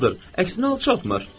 Əksinə alçaltmır.